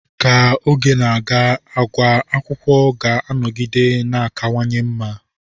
Ka oge na-aga, àgwà akwụkwọ ga-anọgide na-akawanye mma.